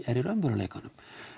er í raunveruleikanum